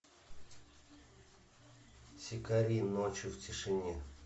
сикарии ночью в тишине